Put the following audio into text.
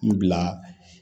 N bila